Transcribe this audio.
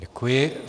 Děkuji.